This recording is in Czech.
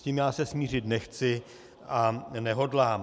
S tím já se smířit nechci a nehodlám.